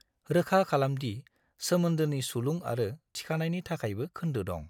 रोखा खालाम दि सोमोन्दोनि सुलुं आरो थिखानायनि थाखायबो खोन्दो दं।